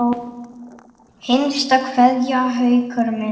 HINSTA KVEÐJA Haukur minn.